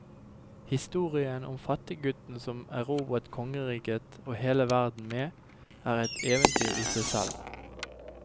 Historien om fattiggutten som erobret kongeriket og hele verden med, er et eventyr i seg selv.